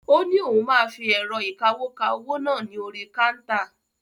Ó ní òun máa fi ẹ̀rọ̀ ìkawó ka owó náà ní orí káńtà.